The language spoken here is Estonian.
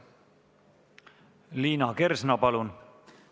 Liina Kersna, palun!